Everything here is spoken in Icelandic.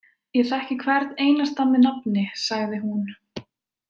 Ég þekki hvern einasta með nafni, sagði hún.